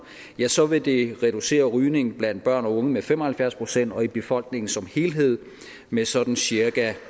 ja så vil det reducere rygning blandt børn og unge med fem og halvfjerds procent og i befolkningen som helhed med sådan cirka